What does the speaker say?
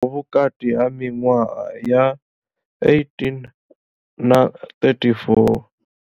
Vhukati ha miṅwaha ya 18 na 34.